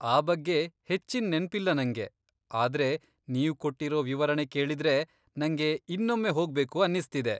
ಆ ಬಗ್ಗೆ ಹೆಚ್ಚಿನ್ ನೆನ್ಪಿಲ್ಲ ನಂಗೆ, ಆದ್ರೆ ನೀವ್ ಕೊಟ್ಟಿರೋ ವಿವರಣೆ ಕೇಳಿದ್ರೆ ನಂಗೆ ಇನ್ನೊಮ್ಮೆ ಹೊಗ್ಬೇಕು ಅನ್ನಿಸ್ತಿದೆ.